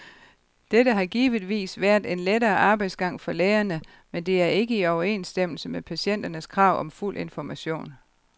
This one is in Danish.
Dette har givetvis været en lettere arbejdsgang for lægerne, men det er ikke i overensstemmelse med patienternes krav om fuld information.